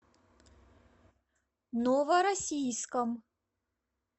новороссийском